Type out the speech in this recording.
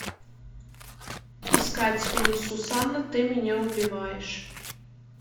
искать фильм сусанна ты меня убиваешь